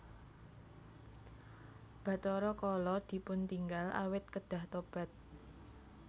Bathara Kala dipuntinggal awit kedah tobat